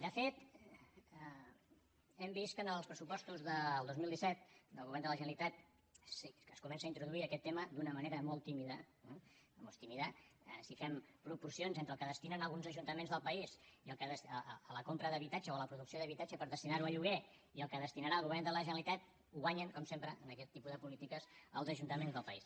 de fet hem vist que en els pressupostos del dos mil disset del govern de la generalitat es comença a introduir aquest tema d’una manera molt tímida eh molt tímida si fem proporcions entre el que destinen alguns ajuntaments del país a la compra d’habitatge o a la producció d’habitatge per destinar ho a lloguer i el que destinarà el govern de la generalitat guanyen com sempre en aquest tipus de polítiques els ajuntaments del país